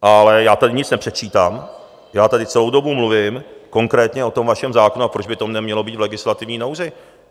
Ale já tady nic nepředčítám, já tady celou dobu mluvím konkrétně o tom vašem zákonu, a proč by to nemělo být v legislativní nouzi?